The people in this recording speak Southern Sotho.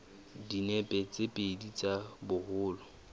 dinepe tse pedi tsa boholo